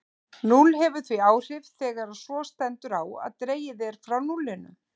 Núll hefur því áhrif þegar svo stendur á að dregið er frá núllinu.